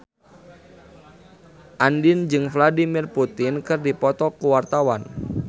Andien jeung Vladimir Putin keur dipoto ku wartawan